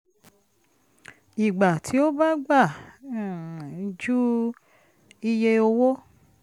ìgbà tí ó bá gbà um ju iye owó